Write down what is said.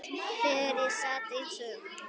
Þegar ég sat eins og